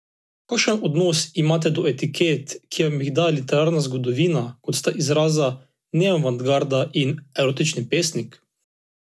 Kakšen odnos imate do etiket, ki vam jih daje literarna zgodovina, kot sta izraza neoavantgarda in erotični pesnik?